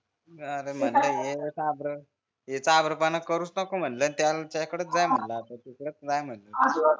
अरे म्हणलं हे चाभर हे चाभरपणा करूच नको म्हणलं त्याकडच जाय म्हणलं आता तू तिकडचं जाय म्हणलं तू